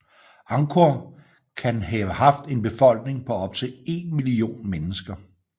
Angkor kan have haft en befolkning på op til én million mennesker